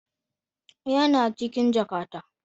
Yana cikin jakata.